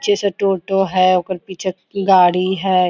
जैसे टोटो है ओकर पीछे गाड़ी है।